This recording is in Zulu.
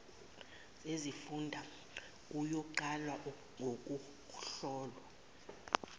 zezifunda kuyoqala ngokuhlolwa